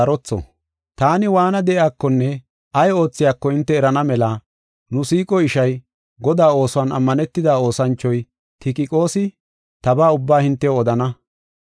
Taani waana de7iyakonne ay oothiyako hinte erana mela nu siiqo ishay, Godaa oosuwan ammanetida oosanchoy, Tikiqoosi, tabaa ubbaa hintew odana.